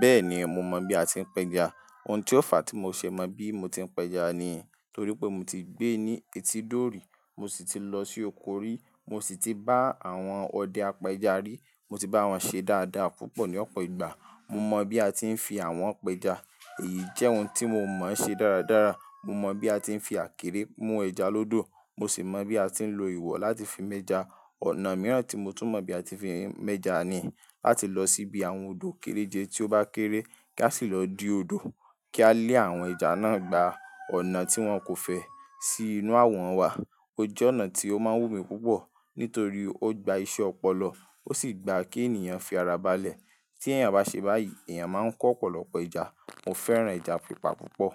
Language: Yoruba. Bẹ́ẹ̀ni mo mọ̀ bí a ti ń pẹja. Ohun tí ó fa tí mo ṣe mọ bí mo ti ń pẹja ni torí pé mo ti gbé ní etí dórí mo sì ti lọ sí òkórí mo sì ti bá àwọn ọdẹ apẹja rí. Mo ti bá wọn ṣe dáadáa púpọ̀ ní ọ̀pọ̀ ìgbà. Mo mọ̀ bí a ti ń fi àwọn apẹja. Èyí jẹ́ ohun tí mo mọ̀ ṣe dáradára. Mo mọ̀ bí a ti ń fi àkérè mú ẹja lódò. Mo sì mọ̀ bí a ti ń lo ìwọ̀ láti fi mẹ́ja. Ọ̀nà mìíràn tí mo tún mọ̀ bí a ti fi ń mẹ́ja ni láti lọ síbi àwọn odò kéréje tí ó bá kéré kí a sì lọ di odò kí a lé àwọn ẹja náà gba ọ̀nà tí wọn kò fẹ́ sí inú àwọn wà. Ó jẹ́ ọnà tí ó má ń wù mí púpọ̀ nítorí ó gba iṣẹ́ ọpọlọ, ó sì gba kí ènìyàn fi ara balẹ̀. Tí èèyàn bá ṣe báyìí èèyàn máa ń kó ọ̀pọ̀lọpọ̀ ẹja. Mo fẹ́ràn ẹja pípa púpọ̀.